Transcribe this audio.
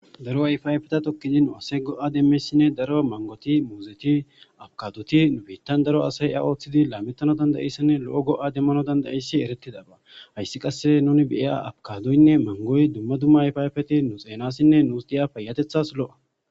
Daro ayfayfeta tokkizi nu7ase go7a demmesinne daro mangoti muuzeti abkadoti nubettan daro asay a ooththidi laamettano dandaessinne lo7o go7a demmano dandaissi eretidaba hayssi qasse nuni beya abkadoynne mangoy dumma dumma ayfayfeti nu xeenassinne nuus diya payatethas lo7a.